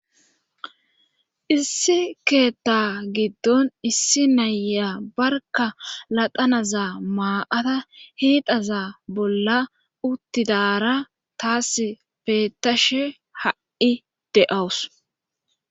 issi keetta giddon issi naya barka ladanaza maa7ata hiidaza bolla uttidara taas beettashe ha7i deawus